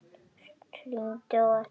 Hringi á eftir